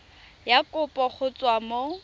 ya kopo go tswa mo